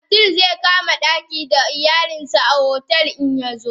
Abdul zaikama daki da iyalansa a otel din in yazo.